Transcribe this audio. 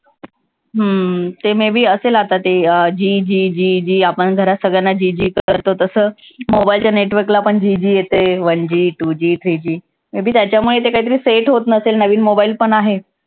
हम्म ते may be असेल आता ते अं G G G G आपण घरात सगळ्यांना जी जी करतो तसं mobile च्या network ला पण G G G येतंय one G, two G, three G may be त्याच्यामुळे ते कायतरी set होत नसेल. नवीन mobile पण आहे.